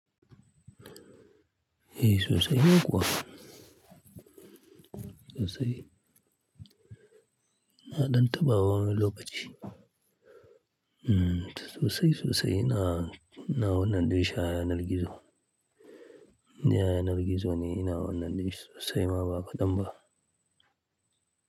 Eh sosai kuwa. Sosai. Ina ɗan taɓa wa wani lokaci. Sosai sosai ina, ina wannan dinshi a yanar gizo. Inde a yanar gizo ne ina wannan dinshi sosai ma ba kadan ba.